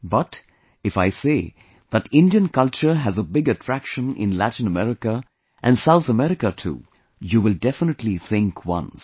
But, if I say that Indian culture has a big attraction in Latin America and South America too, you will definitely think once